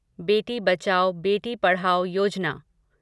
बेटी बचाओ, बेटी पढ़ाओ योजना